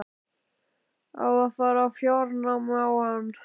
Á að fara í fjárnám á hann?